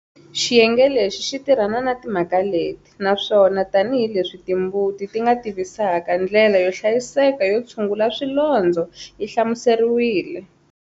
Xiyenge lexi xi tirhana na timhaka leti naswona, tanihi leswi timbuti ti nga tivavisaka, ndlela yo hlayiseka yo tshungula swilondzo yi hlamuseriwile.